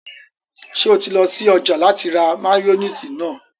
Ṣé o ti lọ sí ọjà láti ra máyóníìsì náà?